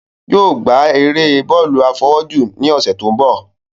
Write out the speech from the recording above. Yóò ò gbá eré bọ́ọ̀lù àfọwọ́jù ní ọ̀sẹ̀ tó ń bọ̀